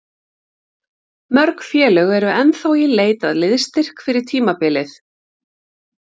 Mörg félög eru ennþá í leit að liðsstyrk fyrir tímabilið.